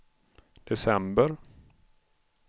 december